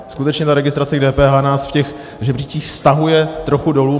Skutečně ta registrace k DPH nás v těch žebříčcích stahuje trochu dolů.